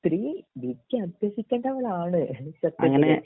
സ്ത്രീ വിദ്യ അഭ്യസിക്കണ്ടവളാണ്